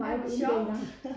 Ej hvor sjovt